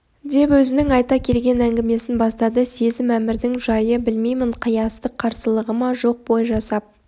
деп өзінің айта келген әңгімесін бастады сөзім әмірдің жайы білмеймін қиястық қарсылығы ма жоқ бой жасап